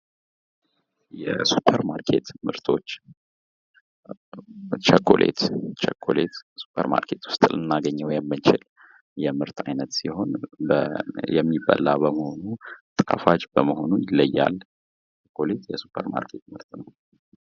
የሱፐር ማርኬት ምርቶች ቸኮሌት ቸኮሌት ሱፐር ማርኬት ዉስጥ ልናገኘው የምንችል የምርት አይነት ሲሆን የሚበላ በመሆኑ ጣፋጭ በመሆኑ ይለያል።